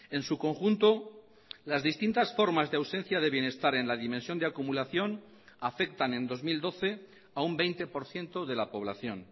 en su conjunto las distintas formas de ausencia de bienestar en la dimensión de acumulación afectan en dos mil doce a un veinte por ciento de la población